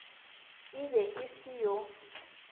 e be e se yo